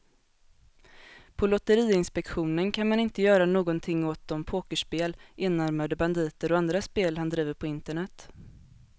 På lotteriinspektionen kan man inte göra någonting åt de pokerspel, enarmade banditer och andra spel han driver på internet.